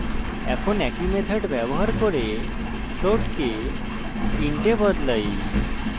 এখন একই method ব্যবহার করে float কে int এ বদলাই